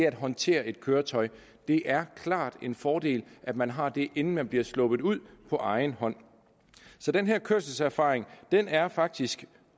at håndtere et køretøj det er klart en fordel at man har det inden man bliver sluppet ud på egen hånd så den her kørselserfaring er faktisk